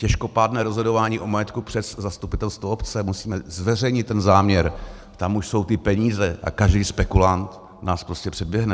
Těžkopádné rozhodování o majetku přes zastupitelstvo obce, musíme zveřejnit ten záměr, tam už jsou ty peníze a každý spekulant nás prostě předběhne.